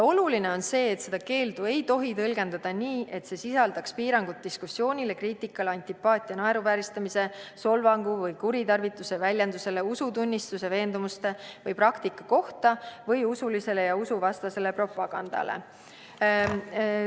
Oluline on see, et seda keeldu ei tohi tõlgendada nii, et see sisaldaks piirangut diskussioonile või kriitikale antipaatia, naeruvääristamise, solvangu või kuritarvituse väljenduse, usutunnistuse, veendumuste või praktika kohta või usulisele ja usuvastasele propagandale.